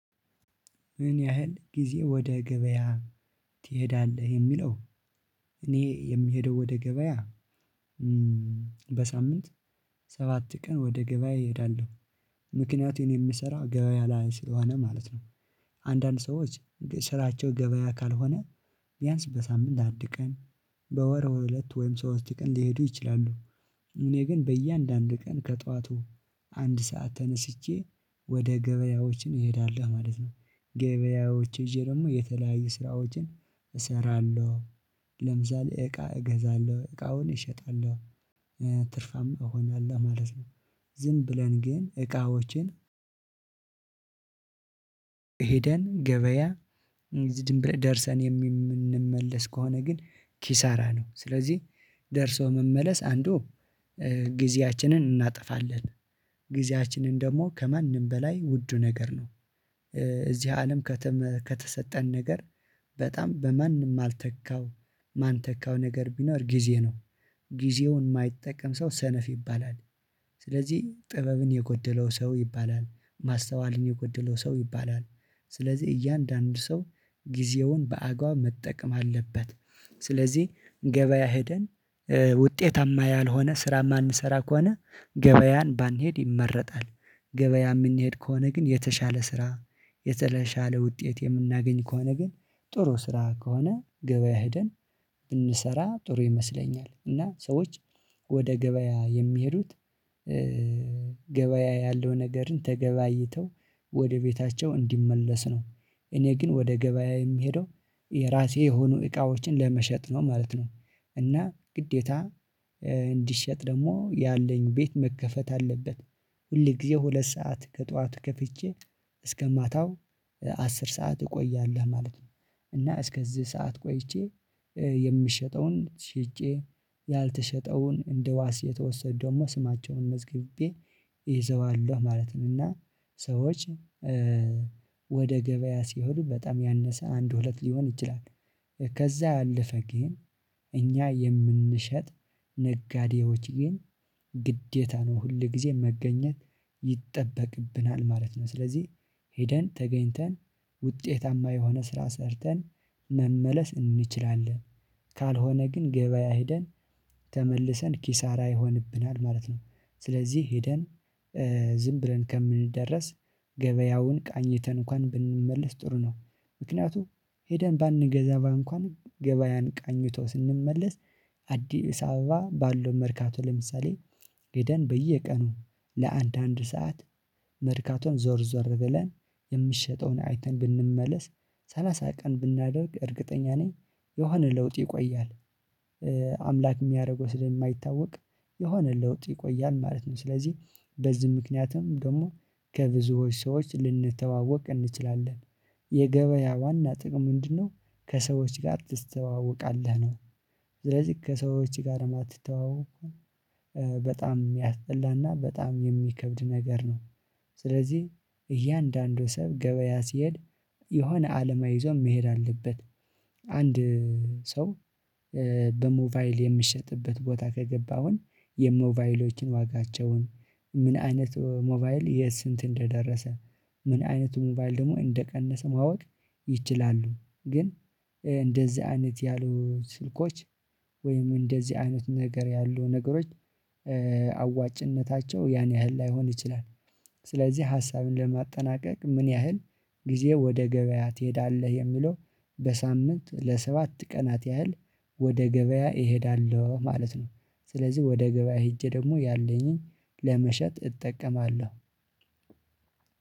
ምን ያህል ጊዜ ወደ ገበያ ትሄዳለህ? የሚለው እኔ የምሄደው ወደ ገበያ በሳምንት ሰባት ቀን ወደ ገበያ እሄዳለሁ ምክንያቱም እኔ የምሰራው ገበያ ላይ ስለሆነ ማለት ነው። አንዳንድ ሰዎች ስራቸው ገበያ ካልሆነ ቢያንስ በሳምንት አንድ ቀን በወር ሁለት ወይም ሶስት ቀን ሊሄዱ ይችላሉ። እኔ ግን በእያንዳንዱ ቀን ከጠዋቱ አንድ ሰዓት ተነስቼ ወደ ገበያዎችን እሄዳለሁ ማለት ነው። ገበያዎች እዤ ደግሞ የተለያዩ ስራዎችን እሰራለሁ። ለምሳሌ እቃ እገዛለሁ እቃውን እሸጣለሁ ትርፋም እሆናለሁ ማለት ነው። ዝም ብለን ግን እቃዎችን ሄደን ገበያ ዝንብለን ደርሰን የምንመለስ ከሆነ ግን ኪሳራ ነው። ስለዚህ ደርሶ መመለስ አንዱ ጊዜያችንን እናጠፋለን ጊዜያችንን ደግሞ ከማንም በላይ ውዱ ነገር ነው። እዚህ አለም ከተሰጠን ነገር በጣም በማን የማልተካው የማንተካው ነገር ቢኖር ጊዜ ነው። ጊዜውን የማይጠቀም ሰው ሰነፍ ይባላል። ስለዚህ ጥበብን የጎደለው ሰው ይባላል ማስተዋልን የጎደለው ሰው ይባላል። ስለዚህ እያንዳንዱ ሰው ጊዜውን በአግባብ መጠቀም አለበት ስለዚህ ገበያ ሄደን ውጤታማ ያልሆነ ስራ የማንሰራ ከሆነ ገበያን ባንሄድ ይመረጣል። ገበያ የምንሄድ ከሆነ ግን የተሻለ ስራ የተሻለ ውጤት የምናገኝ ከሆነ ግን ጥሩ ስራ ከሆነ ገበያ ሄደን ብንሰራ ጥሩ ይመስለኛል። እና ሰዎች ወደ ገበያ የሚሄዱት ገበያ ያለውን ነገርን ተገበያይተው ወደ ቤታቸው እንዲመለስ ነው። እኔ ግን ወደ ገበያ የምሄደው የራሴ የሆኑ እቃዎችን ለመሸጥ ነው ማለት ነው። እና ግዴታ እንዲሸጥ ደግሞ ያለኝ ቤት መከፈት አለበት። ሁል ጊዜ ሁለት ሰዓት ከጧቱ ከፍቼ እስከ ማታው አስር ሰዓት እቆያለሁ ማለት ነው። እና እስከዚህ ሰዓት ቆይቼ የምሸጠውን ሽጬ ያልተሸጠውን እንደዋስ የተወሰደውን ደግሞ ስማቸውን መዝግቤ ይዘዋለሁ ማለትን እና ሰዎች ወደ ገበያ ሲሄዱ በጣም ያነሰ አንድ ሁለት ሊሆን ይችላል። ከዛ ያለፈ ግን እኛ የምንሸጥ ነጋዴዎች ግን ግዴታ ነው ሁል ጊዜ መገኘት ይጠበቅብናል ማለት ነው። ስለዚህ ሄደን ተገኝተን ውጤታማ የሆነ ስራ ሰርተን መመለስ እንችላለን። ካልሆነ ግን ገበያ ሄደን ተመልሰን ኪሳራ ይሆንብናል ማለት ነው። ስለዚህ ሄደን ዝም ብለን ከምንደርስ ገበያውን ቃኝተን እንኳን ብንመለስ ጥሩ ነው። ምክንያቱ ሄደን ባንገዛ እንኳን ገበያን ቃኝቶ ስንመለስ አዲስ አበባ ባለው መርካቶ ለምሳሌ ሂደን በየቀኑ ለአንድ አንድ ሰዓት መርካቶን ዞር ዞር ብለን የሚሸጠውን አይተን ብንመለስ ሰላሳ ቀን ብናደርግ እርግጠኛ ነኝ የሆነ ለውጥ ይቆያል። አምላክ የሚያደርገው ስለማይታወቅ የሆነ ለውጥ ይቆያል ማለት ነው። ስለዚህ በዚህ ምክንያትም ደግሞ ከብዙዎች ሰዎች ልንተዋወቅ እንችላለን። የገበያ ዋና ጥቅም ምንድነው? ከሰዎች ጋር ትስተዋወቃለህ ነው ስለዚህ ከሰዎች ጋር ማትተዋወቅ ከሆነ በጣም የሚያስጠላና በጣም የሚከብድ ነገር ነው። ስለዚህ እያንዳንዱ ሰው ገበያ ሲሄድ የሆነ አላማ ይዞ መሄድ አለበት። አንድ ሰው በሞባይል የሚሸጥበት ቦታ ከገባ አሁን የሞባይሎችን ዋጋቸውን ምን አይነት ሞባይል የስንት እንደደረሰ ምን አይነቱ ሞባይል ደግሞ እንደቀነሰ ማወቅ ይችላሉ። ግን እንደዚህ አይነት ያሉ ስልኮች ወይም እንደዚህ አይነት ነገር ያሉ ነገሮች አዋጭነታቸው ያን ያህል ላይሆን ይችላል። ስለዚህ ሀሳብን ለማጠናቀቅ ምን ያህል ጊዜ ወደ ገበያ ትሄዳለህ? የሚለው በሳምንት ለሰባት ቀናት ያህል ወደ ገበያ እሄዳለሁ ማለት ነው። ስለዚህ ወደ ገበያ ሄጄ ደግሞ ያለኝን ለመሸጥ እጠቀማለሁ።